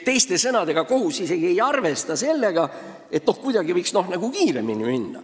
Teiste sõnadega, kohus isegi ei arvesta sellega, et midagi võiks kiiremini minna.